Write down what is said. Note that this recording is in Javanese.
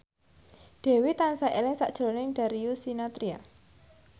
Dewi tansah eling sakjroning Darius Sinathrya